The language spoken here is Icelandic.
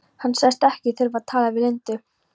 Hann sagðist ekki þurfa að tala við Lindu.